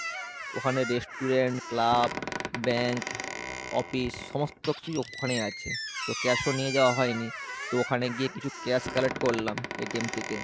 ওখানে restaurant, club, bank, office সমস্ত কিছুই ওখানেই আছে, তো cash ও নিয়ে যাওয়া হয় নি। তো ওখানে গিয়ে কিছু cash collect করলাম থেকে।